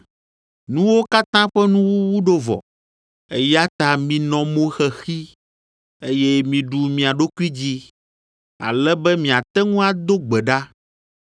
Nuwo katã ƒe nuwuwu ɖo vɔ, eya ta minɔ mo xexi, eye miɖu mia ɖokui dzi, ale be miate ŋu ado gbe ɖa.